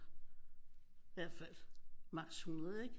I hvert fald max hundrede ikke